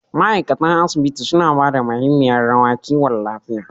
ma'aikatan asibiti suna ba da mahimiyar rawa kiwon lafiya